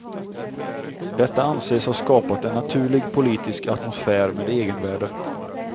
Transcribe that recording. Detta anses ha skapat en naturlig politisk atmosfär med egenvärde.